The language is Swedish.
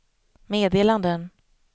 meddelanden